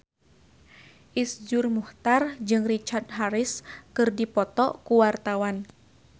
Iszur Muchtar jeung Richard Harris keur dipoto ku wartawan